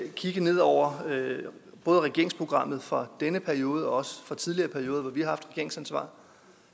kigge ned over regeringsprogrammet både for denne periode og for tidligere perioder hvor vi har haft regeringsansvaret